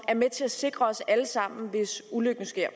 er med til at sikre os alle sammen hvis ulykken sker